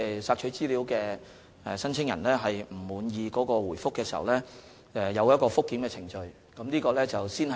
索取資料的申請人若不滿意回覆，可循覆檢程序提出投訴。